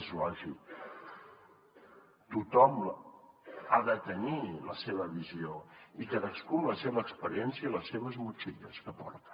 és lògic tothom ha de tenir la seva visió cadascú amb la seva experiència i les motxilles que porta